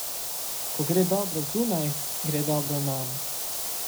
Ko gre dobro zunaj, gre dobro nam.